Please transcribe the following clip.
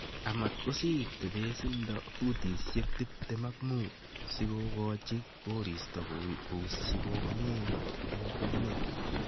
amat kosiir tebeesindo futisiek tiptem ak mut sikogochi koristo kousyi komie en kwenet.